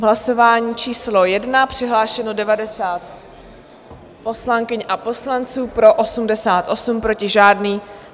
V hlasování číslo 1 přihlášeno 90 poslankyň a poslanců, pro 88, proti žádný.